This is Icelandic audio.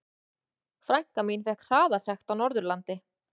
Frænka mín fékk hraðasekt á Norðurlandi.